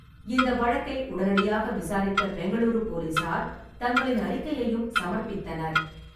இந்த வழக்கை உடனடியாக விசாரித்த பெங்களூரு போலீசார், தங்களின் அறிக்கையையும் சமர்ப்பித்தனர்.